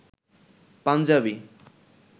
Punjabi